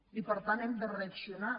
i per tant hem de reaccionar